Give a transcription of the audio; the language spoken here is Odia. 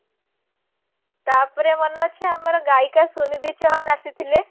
ତାପରେ ମନେ ଅଛି ଆମର ଗାୟିକା ସୁନିଧି ଚୌହାନ୍ ଆସିଥିଲା